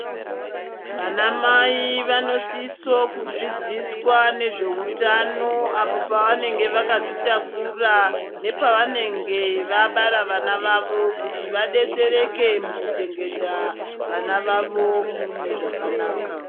Vanamai vanosiso kudzidziswa nezvehutano apo pavanenge vakazvitakura nepavanenge vabara vana vavo kuti vabetsereke kuchengeta vana vavo mune zvakanaka